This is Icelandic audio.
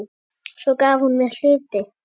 Svo gaf hún mér hluti.